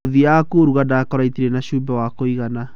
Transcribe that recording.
Ngũthiaga kũruga ndakora itarĩ na cumbĩ wa kũigana.